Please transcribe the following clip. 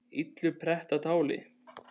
illu pretta táli